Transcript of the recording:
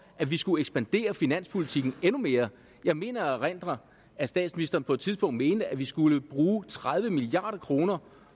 at vi skulle ekspandere finanspolitikken endnu mere jeg mener at erindre at statsministeren på et tidspunkt mente at vi skulle bruge tredive milliard kroner